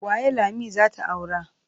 Waye Lami za ta aura?